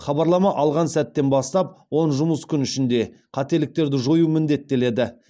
хабарлама алған сәттен бастап он жұмыс күн ішінде қателіктерді жою міндеттеледі